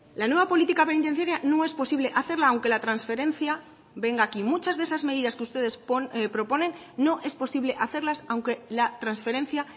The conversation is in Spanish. la nueva política penitenciaria no es posible hacerla aunque la transferencia venga aquí muchas de esas medidas que ustedes proponen no es posible hacerlas aunque la transferencia